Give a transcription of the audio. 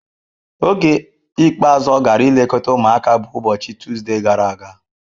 Oge ikpeazụ ọ gara ilekọta ụmụaka bụ ụbọchị Tuzdee gara aga.